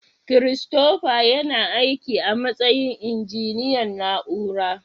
Christopher yana aiki a matsayin injiniyan na'ura.